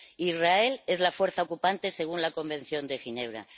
Israel es la fuerza ocupante, según la Convención de Ginebra.